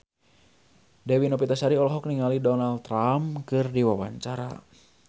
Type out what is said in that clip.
Dewi Novitasari olohok ningali Donald Trump keur diwawancara